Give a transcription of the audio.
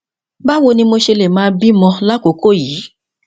báwo ni mo ṣe lè máa bí ọmọ ní àkókò yìí